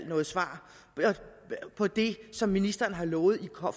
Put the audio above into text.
noget svar på det som ministeren har lovet